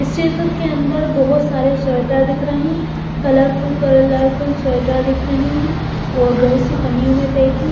इस चित्र के अंदर बहुत सारे स्वेटर दिख रहे हैं कलरफुल कलरफुल स्वेटर दिख रहे हैं और बहुत सी पन्नियों में पैक है।